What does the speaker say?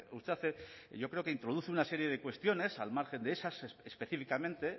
usted hace yo creo que introduce una serie de cuestiones al margen de esas específicamente